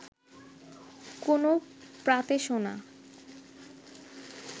কোনো প্রাতে শোনা